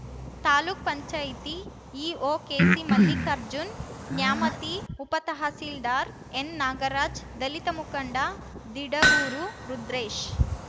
ತಾಲೂಕ್ ಪಂಚಾಯತಿ ಇಒ ಕೆಸಿಮಲ್ಲಿಕಾರ್ಜುನ್‌ ನ್ಯಾಮತಿ ಉಪತಹಸೀಲ್ದಾರ್‌ ಎನ್‌ ನಾಗರಾಜ್‌ ದಲಿತ ಮುಖಂಡ ದಿಡಗೂರು ರುದ್ರೇಶ್‌